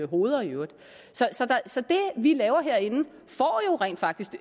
hoveder i øvrigt så det vi laver herinde får jo rent faktisk